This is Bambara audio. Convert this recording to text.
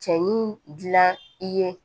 Cɛ ni dilan i ye